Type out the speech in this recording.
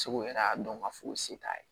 Segu yɛrɛ y'a dɔn k'a fɔ o se t'a ye